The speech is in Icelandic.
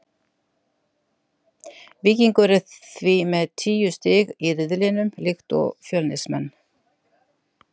Víkingur er því með tíu stig í riðlinum líkt og Fjölnismenn.